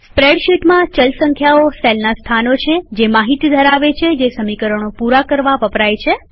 સ્પ્રેડશીટમાંચલ સંખ્યાઓ સેલના સ્થાનો છે જે માહિતીડેટા ધરાવે છે જે સમીકરણો પુરા કરવા વપરાય છે